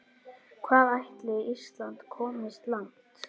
Hvað ætli Ísland komist langt?